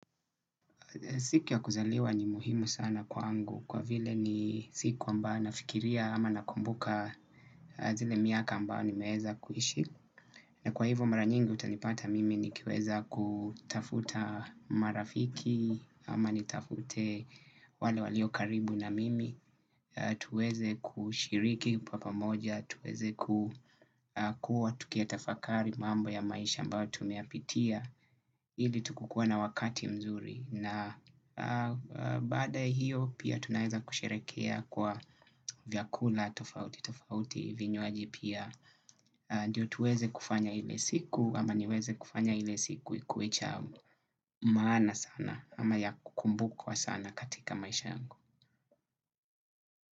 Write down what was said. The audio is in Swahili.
Siku ya kuzaliwa ni muhimu sana kwa ngu kwa vile ni siku ambayo nafikiria ama nakumbuka zile miaka ambayo ni meweza kuishi. Na kwa hivyo mara nyingi utanipata mimi ni kiweza kutafuta marafiki ama nitafute wale walio karibu na mimi. Tuweze kushiriki papamoja, tuweze kukua, tukiya tafakari mambo ya maisha ambayo tumeyapitia ili tukukue na wakati mzuri na baadaya hiyo pia tunaweza kusherehekea kwa vyakula, tofauti, tofauti, vinywaji pia. Ndiyo tuweze kufanya ile siku ama niweze kufanya ile siku ikuecha maana sana ama ya kukumbukwa sana katika maisha yako.